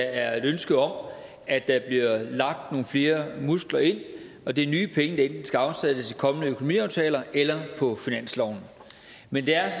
er et ønske om at der lagt nogle flere muskler ind og det er nye penge der enten skal afsættes i kommende økonomiaftaler eller på finansloven men det er